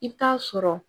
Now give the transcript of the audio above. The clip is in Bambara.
I bɛ taa sɔrɔ